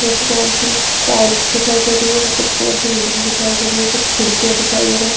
Red colour की tiles दिखाई दे रही है। सफेद कलर की बिल्डिंग दिखाई दे रही है। कुछ खिड़कियां दिखाई दे रहे --